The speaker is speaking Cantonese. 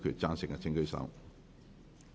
贊成的請舉手。